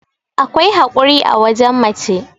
akwai haƙuri a wajen mace